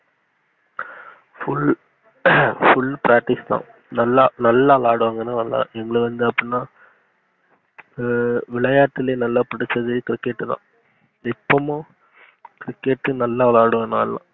full ஆஹ் full pratice தான் நல்லா நல்லா விளாடுவாங்க அப்டினா ஆஹ் விளையாட்டுலே நல்லா புடிச்சதுனா cricket தான் இப்போமோ cricket நல்லா விளையாடுவோம்.